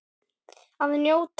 Að njóta.